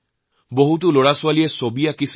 হাজাৰ হাজাৰ শিশুৱে চিত্ৰাংকণ কৰিছে